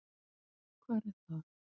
Hvar er það?